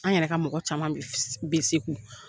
An yɛrɛ ka mɔgɔ caman bɛ bɛ Segu.